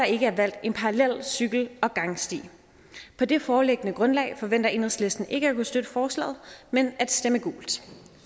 ikke er valgt en parallel cykel og gangsti på det foreliggende grundlag forventer enhedslisten ikke at kunne støtte forslaget men at stemme gult